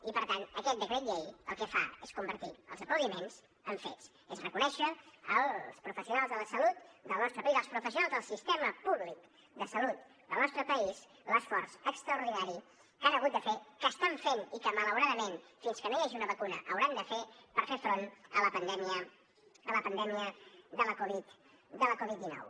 i per tant aquest decret llei el que fa és convertir els aplaudiments en fets és reconèixer als professionals de la salut del nostre país als professionals del sistema públic de salut del nostre país l’esforç extraordinari que han hagut de fer que estan fent i que malauradament fins que no hi hagi una vacuna hauran de fer per fer front a la pandèmia a la pandèmia de la covid dinou